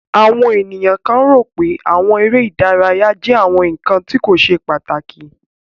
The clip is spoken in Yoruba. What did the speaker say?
Awọn eniyan kan ro pé awọn ere idaraya jẹ awọn nkan ti ko ṣe pataki.